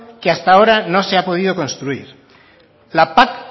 que hasta ahora no se ha podido construir la pac